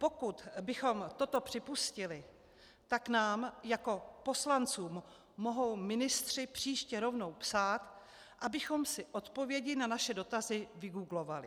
Pokud bychom toto připustili, tak nám jako poslancům mohou ministři příště rovnou psát, abychom si odpovědi na naše dotazy vygooglovali.